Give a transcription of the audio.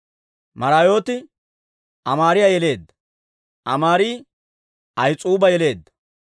Maraayooti Amaariyaa yeleedda; Amaari Ahis'uuba yeleedda;